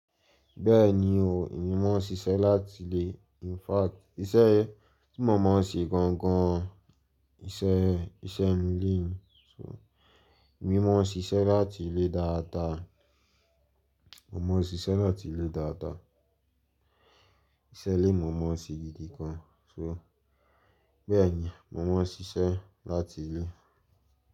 Bẹ́ẹ̀ni o, èmi mó ṣíṣe láti ilé. In fact iṣẹ́ tí mo mọ̀ ọ́n ṣe gan gan iṣẹ́, iṣẹ́ mi le èmi mọ̀ ọ́n ṣíṣe láti ilé dáadáa, mo mọ̀ ọ́n ṣíṣe láti ilé dáadáa. Iṣẹ́ lè mo mọ̀ ọ́n ṣe gidi gan. Bẹ́ẹ̀ni mo mọ̀ ọ́n ṣíṣe láti ilé.